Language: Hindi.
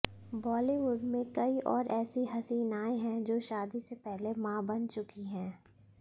बॉलीवुड में कई और ऐसी हसीनाएं हैं जो शादी से पहले मां बन चुकी हैं